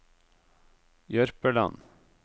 Jørpeland